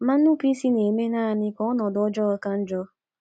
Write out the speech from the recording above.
Ma inupụ isi na - eme nanị ka ọnọdụ ọjọọ ka njọ.